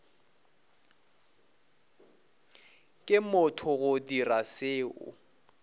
ke motho go dira seo